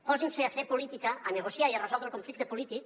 posin se a fer política a negociar i a resoldre el conflicte polític